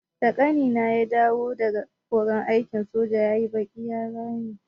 Da ƙanina ya dawo daga horon aikin soja yayi baƙi ya rame.